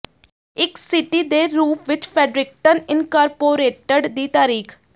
ਇੱਕ ਸਿਟੀ ਦੇ ਰੂਪ ਵਿੱਚ ਫੈਡਰਿਕਟਨ ਇਨਕਾਰਪੋਰੇਟਡ ਦੀ ਤਾਰੀਖ